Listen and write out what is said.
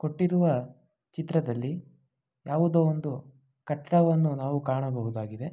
ಕೊಟ್ಟಿರುವ ಚಿತ್ರದಲ್ಲಿ ಯಾವುದೋ ಒಂದು ಕಟ್ಟಡವನ್ನು ನಾವು ಕಾಣಬಹುದಾಗಿದೆ.